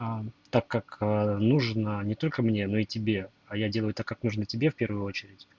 аа так как нужно не только мне ну и тебе а я делаю так как нужно тебе в первую очередь